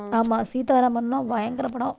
ஆமா, சீதாராமம் எல்லாம் பயங்கர படம்.